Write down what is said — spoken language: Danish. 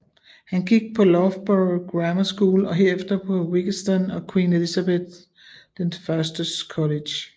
Han gik på Loughborough Grammar School og herefter på Wyggeston and Queen Elizabeth I College